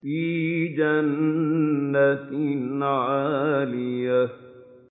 فِي جَنَّةٍ عَالِيَةٍ